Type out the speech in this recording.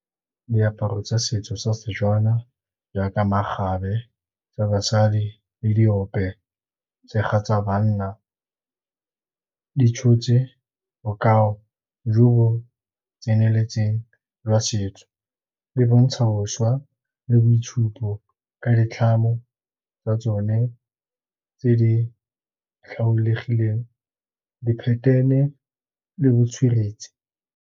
Diaparo tsa setso sa Setswana, jaaka makgabe tsa basadi le diope, tshega tsa banna di tshotse bokao jo bo tseneletseng jwa setso. Di bontsha bošwa le boitshupo ka ditlhamo tsa tsone tse di tlhaolegileng diphethene le botsweretse.